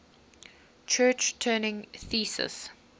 church turing thesis